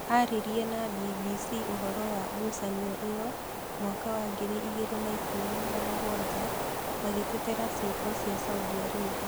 Aririe na BBC ũhoro wa ngucanio ĩyo mwaka wa ngiri igĩrĩ na ikũmi na mũgwanja agĩtetera ciĩko cia Saudi Arabia.